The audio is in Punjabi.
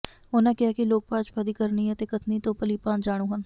ਉਨ੍ਹਾਂ ਕਿਹਾ ਕਿ ਲੋਕ ਭਾਜਪਾ ਦੀ ਕਰਨੀ ਅਤੇ ਕਥਨੀ ਤੋਂ ਭਲੀਭਾਂਤ ਜਾਣੂ ਹਨ